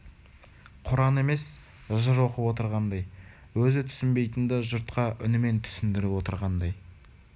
құран емес жыр оқып отырғандай өзі түсінбейтінді жұртқа үнімен түсіндіріп отырғандай